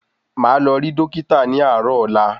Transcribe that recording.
Máà lọ rí Dókítà ní àárò ọ̀la